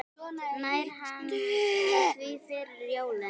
Nær hann því fyrir jólin?